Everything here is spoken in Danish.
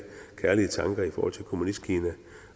kærlige tanker i forhold til kommunistkina